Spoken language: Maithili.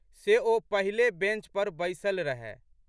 से ओ पहिले बेंच पर बैसलि रहए।